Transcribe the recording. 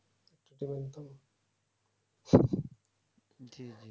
জী জী